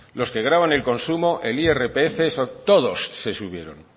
los que gravan el consumo el irpf todos se subieron